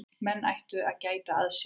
Menn ættu að gæta að sér.